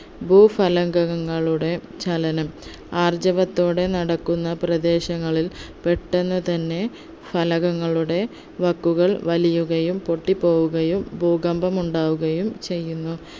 ഭൂഫലകങ്ങളുടെ ചലനം ആർജവത്തോടെ നടക്കുന്ന പ്രദേശങ്ങളിൽ പെട്ടെന്ന് തന്നെ ഫലകങ്ങളുടെ വക്കുകൾ വലിയുകയും പൊട്ടിപ്പോവുകയും ഭൂകമ്പം ഉണ്ടാവുകയും ചെയ്യുന്നു